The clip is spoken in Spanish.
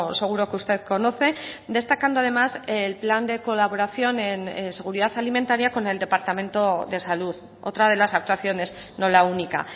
seguro que usted conoce destacando además el plan de colaboración en seguridad alimentaria con el departamento de salud otra de las actuaciones no la única